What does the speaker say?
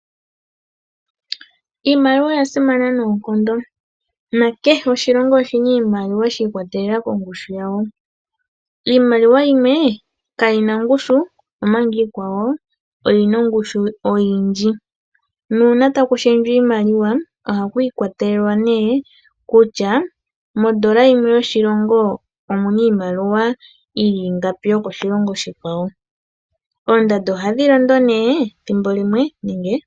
Imaliwa oyasimana noonkondo na kehe oshilongo oshina niilamiwa shiikwatelela kongushu yawo. Iimaliwa yimwe kayina ongushu omanga iikwawo oyina ongushu oyindji , na una taku shendjwa iimaliwa ohaku ikwatelelwa ne nokutya modola yimwe yoshilongo omuna iimaliwa ingapi yokoshilongo oshikwawo oondando ohadhi londo ne ethimbo limwe.